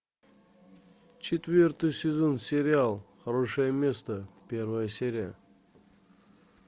четвертый сезон сериал хорошее место первая серия